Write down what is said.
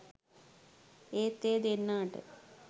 ඒත් ඒ දෙන්නාට